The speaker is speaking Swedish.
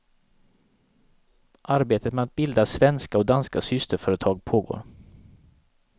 Arbetet med att bilda svenska och danska systerföretag pågår.